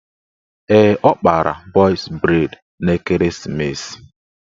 Ee, ọ kpara bọz breid n'ekeresimeesi